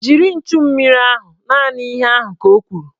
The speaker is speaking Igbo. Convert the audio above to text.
Jiri nchummiri ahụ! Naanị ihe ahụ ka o kwuru